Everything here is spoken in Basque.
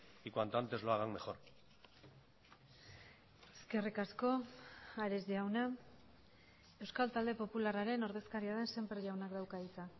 y cuanto antes lo hagan mejor eskerrik asko ares jauna euskal talde popularraren ordezkaria den sémper jaunak dauka hitza